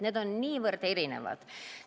Need on niivõrd erinevad.